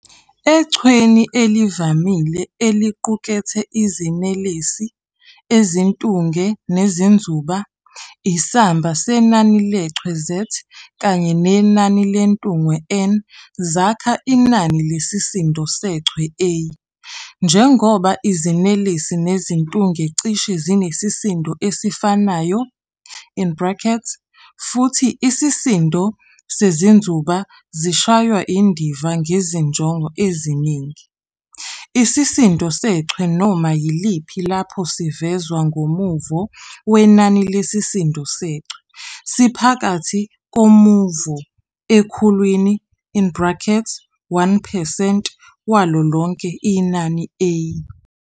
EChweni elivamile eliqukethe iziNelesi, iziNtunge neziNzuba, isamba senani leChwe Z kanye nenani leNtunge N zakha inani lesisindo seChwe A. Njengoba iziNelesi neziNtunge cishe zinesisindo esifanayo in brackets futhi isisindo seziNzuba zishaywa indiva ngezinjongo eziningi, isisindo seChwe noma yiliphi lapho sivezwa ngomuvo wenani lesisindo seChwe, siphakathi komuvo ekhulwini in brackets 1 percent walo lonke inani A.